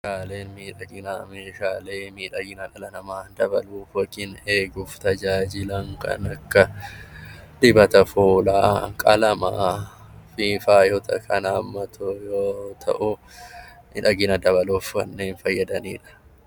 Meeshaaleen miidhaginaa meeshaalee miidhagina dhala namaa eeguuf tajaajilan kan akka dibata fuulaa, qalamaa kan hammatu yoo ta'u, miidhagina dabaluuf kanneen fayyadanidha